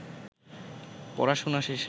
পড়াশুনা শেষে